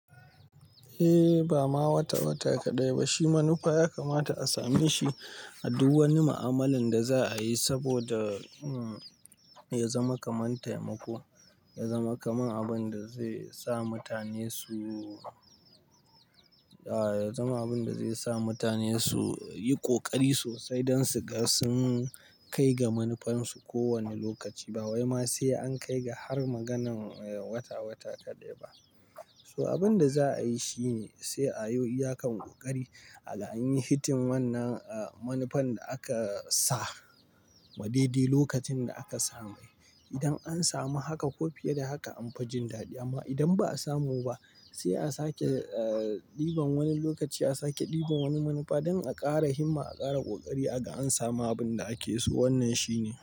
Eh, ba ma wata-wata kaɗai ba. Shi manufa ya kamata a same shi a duk wani mu'amalan da za'a yi saboda ya zama kamar taimako, ya zama kamar abin da zai sa mutane su yi ƙoƙari sosai don su ga sun kai ga manufarsu kowane lokaci. Ba wai ma sai an kai ga har maganan wata-wata kaɗai ba. So abin da za a yi shi ne sai a yi iyakan ƙoƙari aga anyi hitting wannan manufan da aka sa wa daidai lokacin da aka same. Idan an samu haka ko fiye da haka an fi jin daɗi amma idan ba a samu ba sai a sake ɗiban wani lokaci, a sake ɗiban wani manufa don a ƙara himma, a ƙara ƙoƙari aga an samu abin da ake so. Wannan shi ne.